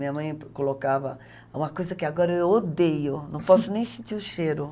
Minha mãe colocava uma coisa que agora eu odeio, não posso nem sentir o cheiro.